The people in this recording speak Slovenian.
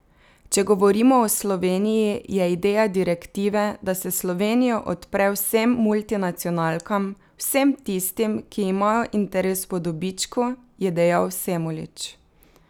Če govorimo o Sloveniji, je ideja direktive, da se Slovenijo odpre vsem multinacionalkam, vsem tistim, ki imajo interes po dobičku, je dejal Semolič.